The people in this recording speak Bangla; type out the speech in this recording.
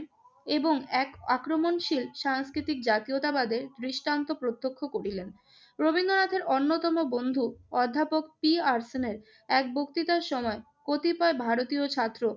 এবং এক আক্রমণশীল সাংস্কৃতিক জাতীয়তাবেদার দৃষ্টান্ত প্রত্যক্ষ করিলেন। রবীন্দ্রনাথের অন্যতম বন্ধু অধ্যাপক পি আর সেনের এক বক্তৃতার সময় কতিপয় ভারতীয় ছাত্র